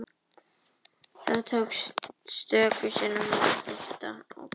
Þá tókst stöku sinnum að ná skipinu á annan bóg með því að hálsa.